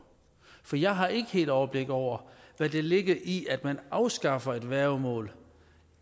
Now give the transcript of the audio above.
for jeg har ikke helt overblik over hvad der ligger i at man afskaffer et værgemål